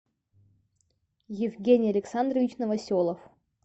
евгений александрович новоселов